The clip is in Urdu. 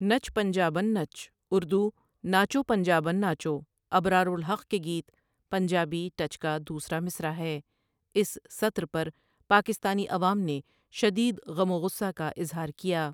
نچ پنجابن نچ ٱردو ناچو پنجابن ناچو ابرار الحق کے گیت پنجابی ٹچ کا دوسرا مصرع ہے اس سطر پر پاکستانی عوام نے شدید غم و غصہ کا اظہار کیا ۔